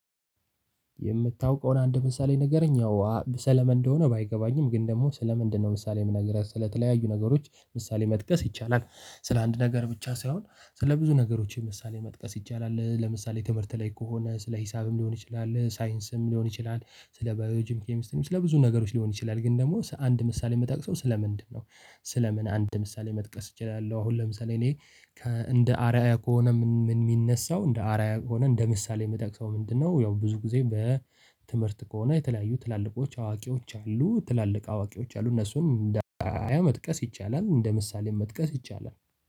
የምታውቀውን አንድ ምሳሌ ንገረኝ፤ እዋ ሰለምን እንደሆነ ባይገባኝም፤ ግን ደግሞ ሰለመንድ ነው ምሳሌ የምነግርህ ስለተለያዩ ነገሮች ምሳሌ መጥቀስ ይቻላል፤ ስለ አንድ ነገር ብቻ ሳይሆን፤ ስለ ብዙ ነገሮች ምሳሌ መጥቀስ ይቻላል፤ ለምሳሌ፣ ትምህርት ላይ ከሆነ ስለ ሂሳብም ሊሆን ይችላል፤ ሳይንስም ሊሆን ይችላል፤ ስለ ባዮሎጂም፣ ኬሚስቲንም ስለ ብዙ ነገሮች ሊሆን ይችላል፤ ግን ደግሞ አንድ ምሳሌ ምጠቅሰው ስለ ምንድነው? ስለ ምን አንድ ምሳሌ መጥቀስ እችላለሁ? አሁን ለምሳሌ፣ እኔ እንደ አርአያ ከሆነ ምን የሚነሳው፤ እንደ አርአያ ከሆነ እንደ ምሳሌ የምጠቅሰው ምንድነው፤ ያው ብዙ ጊዜ በትምህርት ከሆነ የተለያዩ ትላልቆች፣ አዋቂዎች፣ አሉ ትላልቅ አዋቂዎች አሉ፤ እነሱን መጥቀስ ይቻላል፤ እንደ ምሳሌም መጥቀስ ይቻላል፤